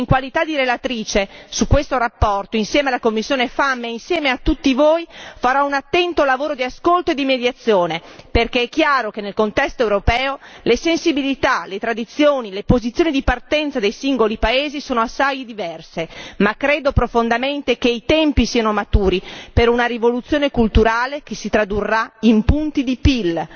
In qualità di relatrice su questo tema, insieme alla commissione FEMM e insieme a tutti voi, farò un attento lavoro di ascolto e mediazione perché è chiaro che nel contesto europeo le sensibilità, le tradizioni e le posizioni di partenza dei singoli paesi sono assai diverse, ma credo profondamente che i tempi siano maturi per una rivoluzione culturale che si tradurrà in punti di